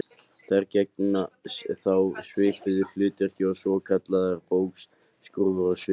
Þær gegna þá svipuðu hlutverki og svokallaðar bógskrúfur á skipum.